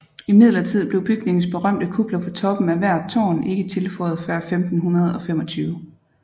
Imidlertid blev bygningens berømte kupler på toppen af hvert tårn ikke tilføjet før 1525